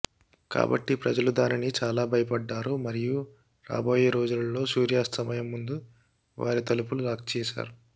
కాబట్టి ప్రజలు దానిని చాలా భయపడ్డారు మరియు రాబోయే రోజులలో సూర్యాస్తమయం ముందు వారి తలుపులు లాక్ చేశారు